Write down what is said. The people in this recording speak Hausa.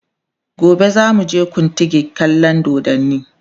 gobe zamu je kutigi kallan doddani